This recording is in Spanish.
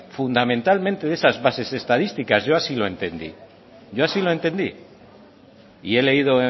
fundamentalmente de esas bases estadísticas yo así lo entendí y he leído